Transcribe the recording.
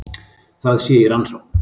Það sé í rannsókn